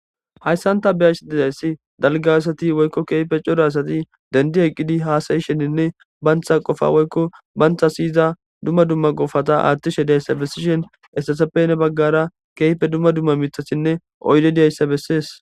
Hayssanta beyash dedayssi dalga asati woykko keefe coda asati dendi eqqidi haasayisheninne bantha qofa woykko bantha siyiza dumma dumma gofata aathtishe diayssa bessishen esseseppene baggara keype dumma dumma mitasinne oyde diyayssa bessees